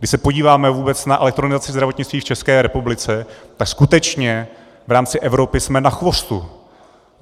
Když se podíváme vůbec na elektronizaci zdravotnictví v České republice, tak skutečně v rámci Evropy jsme na chvostu.